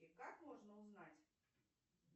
и как можно узнать